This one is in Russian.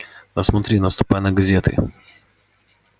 да смотри наступай на газеты